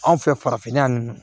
Anw fɛ farafinna yan nɔ